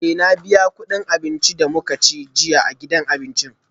Eh na biya kudin abincin da muka ci jiya a gidan abinci